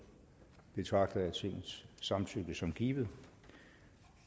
betragter jeg tingets samtykke som givet